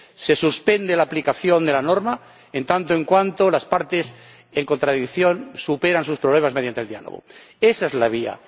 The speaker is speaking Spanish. Se suspende la aplicación de la norma, en tanto en cuanto las partes en contradicción superan sus problemas mediante el diálogo. Esa es la vía.